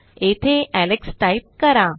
येथे Alex type करा